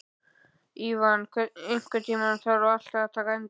Ívan, einhvern tímann þarf allt að taka enda.